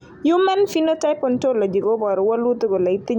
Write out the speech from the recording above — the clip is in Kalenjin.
human Phenotype Ontology koporu wolutik kole itinye Baraitser Winter syndrome.